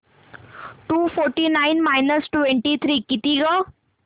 to forty nine minus twenty three किती गं